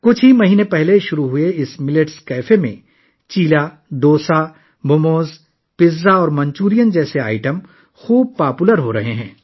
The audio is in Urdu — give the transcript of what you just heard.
چند ماہ قبل شروع ہونے والے اس ملیٹس کیفے میں چِلا، ڈوسا، موموز، پیزا اور منچورین جیسی اشیا بہت مقبول ہو رہی ہیں